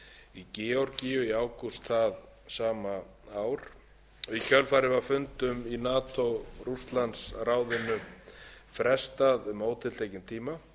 í kjölfar hernaðaraðgerða rússa í georgíu í ágúst það sama ár í kjölfarið var fundum í nato rússlandsráðinu frestað um ótiltekinn tíma einnig var brugðist við